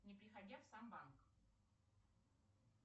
не приходя в сам банк